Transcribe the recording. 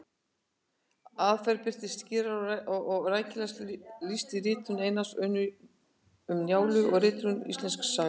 Aðferðin birtist skýrast og er rækilegast lýst í ritum Einars, Um Njálu og Ritunartími Íslendingasagna.